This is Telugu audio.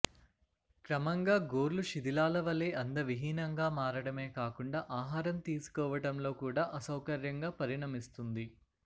క్రమంగా గోర్లు శిధిలాలవలే అందవిహీనంగా మారడమే కాకుండా ఆహారం తీసుకోవటంలో కూడా అసౌకర్యంగా పరిణమిస్తుంది